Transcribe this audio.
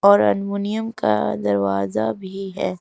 और अलमुनियम का दरवाजा भी है।